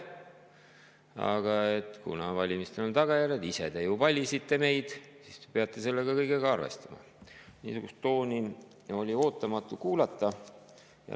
Aga valimistel on tagajärjed, ise te ju valisite meid ja nüüd te peate sellega kõigega arvestama – niisugust tooni oli ootamatu kuulda.